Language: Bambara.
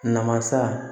Namasa